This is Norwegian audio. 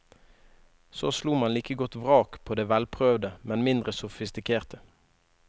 Så slo man like godt vrak på det velprøvde, men mindre sofistikerte.